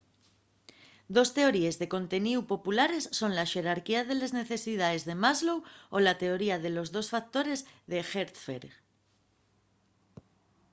dos teoríes de conteníu populares son la xerarquía de les necesidaes de maslow o la teoría de los dos factores d’hertzberg